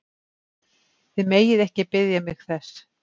Þið megið ekki biðja mig þess!